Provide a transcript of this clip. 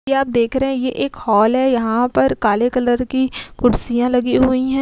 क्या आप देख रहे हैं। यह एक हाॅल हैं। यहां पर काले कलर की कुर्सियां लगी हुई हैं।